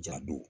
Ja don